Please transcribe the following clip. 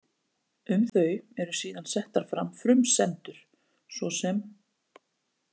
Um þau eru síðan settar fram frumsendur, svo sem: